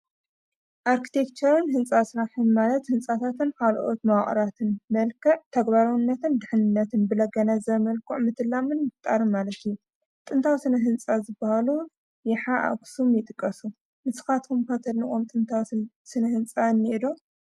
ኣርክቲክቸር ህንፃ ስራሕን ማለት ህንፃታትን ካልኦት መዋቕራትን መልክዕ ተግባራውነትን ድሕንነትን ብለጋናዘበ መልክዑ ምትላምን ምፍጣርን ማለት እዩ፡፡ ጥንታዊ ስነ-ህንፃ ዝባሃሉ የሓ፣ ኣኽሱም ይጥቀሱ፡፡ ንስኻትኩም ከ ተድንቅዎም ጥንታዊ ስነ-ህንፃ እኒአ ዶ?